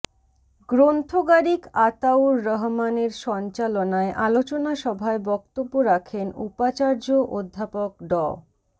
গ্রন্থগারিক আতাউর রহমানের সঞ্চালনায় আলোচনা সভায় বক্তব্য রাখেন উপাচার্য অধ্যাপক ড